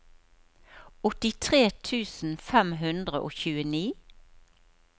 åttitre tusen fem hundre og tjueni